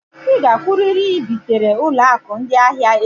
Ị gakwụrịrị i bitere ụlọ akụ ndị ahịa echi